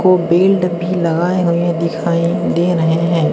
वो बेल्ट भी लगाए हुए दिखाई दे रहे हैं।